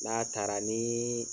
N'a taara nii